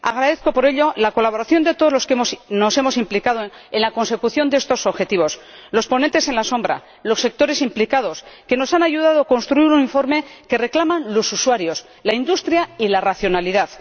Agradezco por ello la colaboración de todos los que nos hemos implicado en la consecución de estos objetivos los ponentes alternativos y los sectores implicados —que nos han ayudado a construir un informe que reclaman los usuarios, la industria y la racionalidad—.